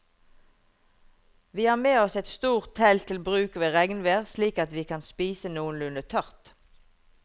Vi har med oss et stort telt til bruk ved regnvær slik at vi kan spise noenlunde tørt.